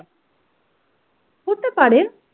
হতে পারে।